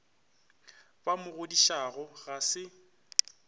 ba mo godišago ga se